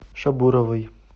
шабуровой